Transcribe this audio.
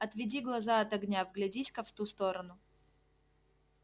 отведи глаза от огня вглядись ка в ту сторону